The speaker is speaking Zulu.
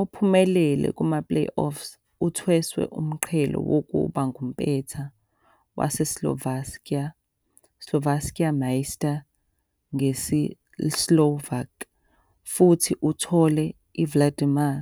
Ophumelele kuma-playoffs uthweswe umqhele wokuba ngumpetha waseSlovakia, "Slovenský majster" ngesiSlovak. futhi uthola i-Vladimir